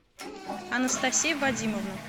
анастасия вадимовна